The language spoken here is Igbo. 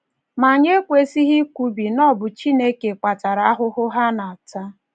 Ma anyị ekwesịghị ikwubi na ọ bụ Chineke kpatara ahụhụ ha na - ata.